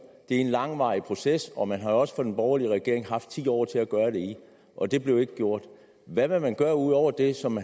er en langvarig proces og man har også fra den borgerlige regerings side haft ti år til at gøre det i og det blev ikke gjort hvad vil man gøre ud over det som